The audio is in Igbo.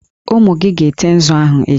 Ụmụ gị ga-ete nzu ahụ echi!